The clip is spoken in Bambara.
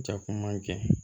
Jakuma ma kɛ